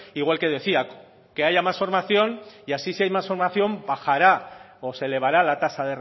igual que decía que haya más formación y así si hay más formación bajará o se elevará la tasa